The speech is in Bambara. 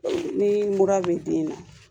Ni mura bɛ den na